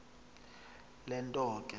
le nto ke